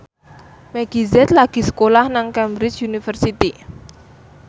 Meggie Z lagi sekolah nang Cambridge University